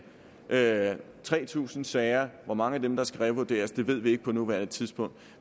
der er tre tusind sager og hvor mange af dem der skal revurderes ved vi ikke på nuværende tidspunkt